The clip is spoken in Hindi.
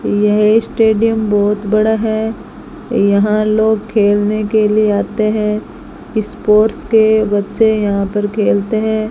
यह स्टेडियम बहुत बड़ा है यहां लोग खेलने के लिए आते है स्पोर्ट्स के बच्चे यहां पर खेलते हैं।